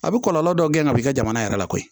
A bɛ kɔlɔlɔ dɔw gɛn ka bɔ i ka jamana yɛrɛ kɔnɔ koyi